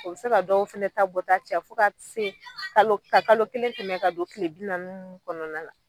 O be se ka dɔw fɛnɛ ta bɔta caya fo ka se ka kalo ka kalo kelen kɛmɛ ka don kile bi naani nunnu kɔnɔna na